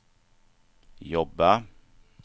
jobba